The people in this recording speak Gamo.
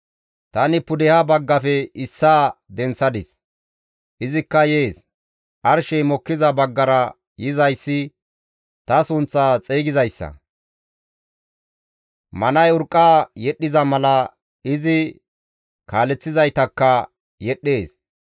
«Tani pudeha baggafe issaa denththadis; izikka yees. Arshey mokkiza baggara yizayssi ta sunththaa xeygizayssa; manay urqqa yedhdhiza mala izi kaaleththizaytakka yedhdhees.